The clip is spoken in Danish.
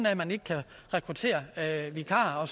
at man ikke kan rekruttere vikarer